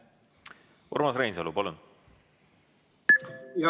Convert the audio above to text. Urmas Reinsalu, palun!